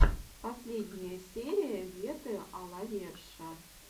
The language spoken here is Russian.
последняя серия вете а ла верша